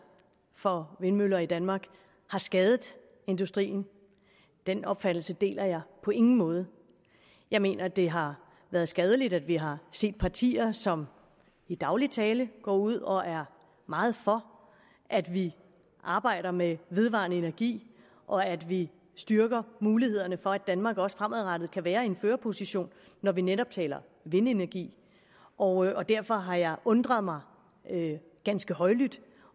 for vindmøller i danmark har skadet industrien den opfattelse deler jeg på ingen måde jeg mener det har været skadeligt at vi har set partier som i daglig tale går ud og er meget for at vi arbejder med vedvarende energi og at vi styrker mulighederne for at danmark også fremadrettet kan være i en førerposition når vi netop taler vindenergi og derfor har jeg undret mig ganske højlydt